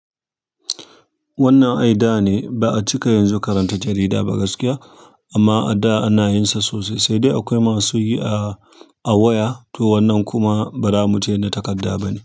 Wannan ai da ne ba'a cika yanzu karanta jarida ba gaskiya amma a da ana yin sa sosai sai dai akwai masu yi a waya to wannan kuma ba zamu ce na takarda bane.